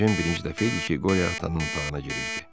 Ejen birinci dəfə idi ki, Qoryo atanın otağına girirdi.